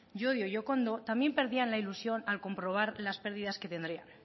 llodio y okondo también perdían la ilusión al comprobar las pérdidas que tendrían